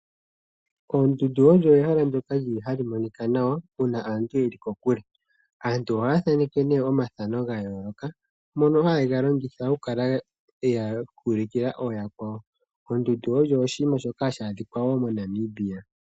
Ehala lyoondundu olyo ehala ndyoka hali monika nawa uuna aantu ye li kokule. Aantu ohaya thaneke ihe omathano ga yooloka ngoka haye ga longitha okuulukila yakwawo. Oondundu odho oshinima shoka hashi adhika wo moNamibia.